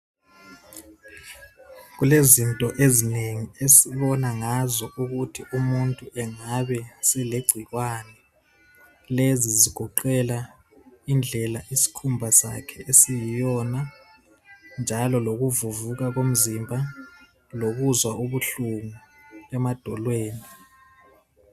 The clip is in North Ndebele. Kulezinto ezinengi esibona ngazo ukuthi umuntu engabe selegcikwane. Lezi zigoqela indlela isikhumba sakhe esiyiyona njalo lokuvuvuka komzimba lokuzwa ubuhlungu emadolweni.